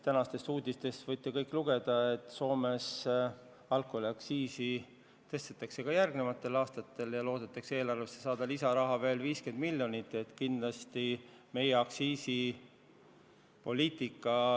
Tänastest uudistest võite kõik lugeda, et Soomes tõstetakse alkoholiaktsiisi ka järgmistel aastatel ja loodetakse eelarvesse veel 50 miljonit lisaraha saada.